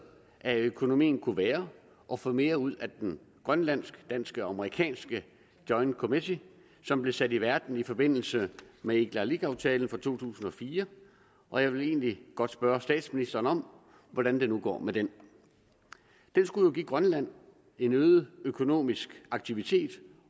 af økonomien kunne være at få mere ud af den grønlandsk dansk amerikanske joint committee som blev sat i verden i forbindelse med igalikuaftalen fra to tusind og fire og jeg vil egentlig godt spørge statsministeren om hvordan det nu går med den den skulle jo give grønland en øget økonomisk aktivitet